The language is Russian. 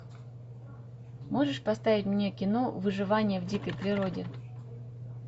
можешь поставить мне кино выживание в дикой природе